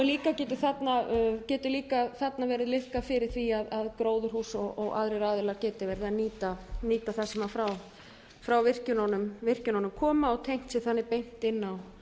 þá getur þarna líka verið liðkað fyrir því að gróðurhús og aðrir aðilar geti nýtt það sem frá virkjunum kemur og tengt sig þannig